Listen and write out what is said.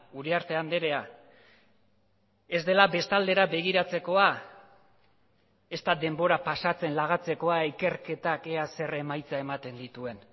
uriarte andrea ez dela bestaldera begiratzekoa ezta denbora pasatzen lagatzekoa ikerketak ea zer emaitza ematen dituen